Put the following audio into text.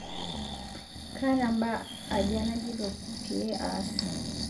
kaata mbaa aja naajita peyie aas